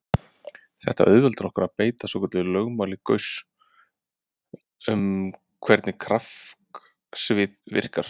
Þetta auðveldar okkur að beita svokölluðu lögmáli Gauss um hvernig kraftsvið verka.